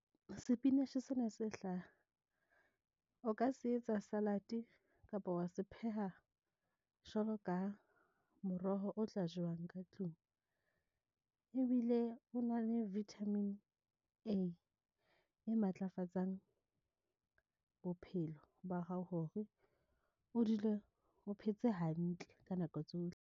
Sepinatjhe sena se hlaha, o ka se etsa salad kapa wa se pheha jwalo ka moroho o tla jewang ka tlung, ebile o na le vitamin A e matlafatsang, bophelo ba hao hore o dule o phetse hantle ka nako tsohle.